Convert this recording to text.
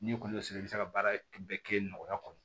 N'i kɔni y'o sɔrɔ i bɛ se ka baara bɛɛ kɛ nɔgɔya kɔnɔ